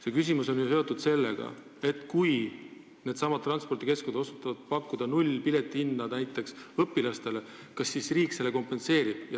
Mu küsimus oli ju seotud sellega, et kui needsamad transpordikeskused otsustavad pakkuda tasuta piletit näiteks õpilastele, siis kas riik selle kompenseerib.